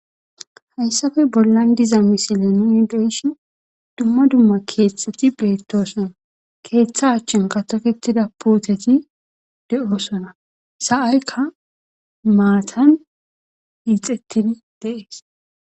hayssafe bollan diza misile nuni deeshi dumma dumma keeththeti beettosona keeththa achchin katofetida puuteti de7osona sa7aykka maatan hiixettin deees